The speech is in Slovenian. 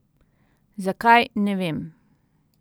Zakaj, ne vem.